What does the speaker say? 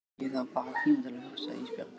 Ég þarf bara tíma til að hugsa Ísbjörg.